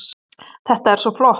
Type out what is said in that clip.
Þetta er svo flott.